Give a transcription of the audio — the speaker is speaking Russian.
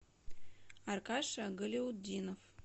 аркаша галяутдинов